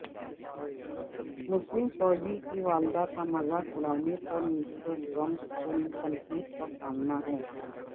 مسلم فوجی کی والدہ کا مذاق اڑانے پر مسٹر ٹرمپ کو تنقید کا سامنا ہے